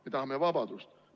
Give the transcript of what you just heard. Me tahame vabadust.